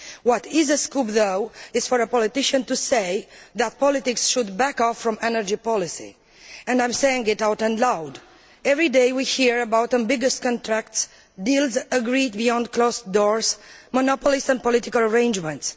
What is a scoop, though, is for a politician to say that politics should back off from energy policy, and I am saying that loud and clear. Every day, we hear about ambiguous contracts, deals agreed behind closed doors, monopolies and political arrangements.